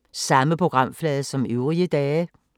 Samme programflade som øvrige dage